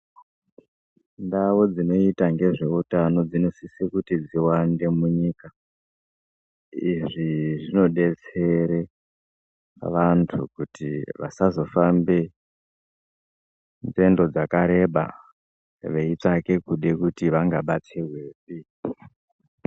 Ndau dzinoita ngezveutano dzinosise kuti dziwandee munyikaa. Izvi zvinodetsere vantu kuti vasazofambe nzendo dzakareba veitsvake kude kuti vangabatsirwe.